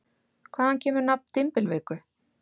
Hvaðan kemur nafn dymbilviku?